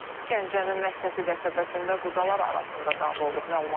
Gəncənin Məhsəti qəsəbəsində qudalar arasında dava olub.